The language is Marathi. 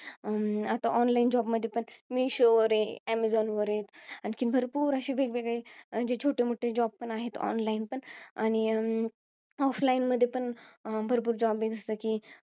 आता online job मध्ये पण मिशो वर आहे, अमेझोन वर आहे. आणखीन भरपूर असे वेगवेगळे, जे छोटेमोठे job पण आहेत online पण. आणि offline मध्ये पण भरपूर job आहे जसे कि,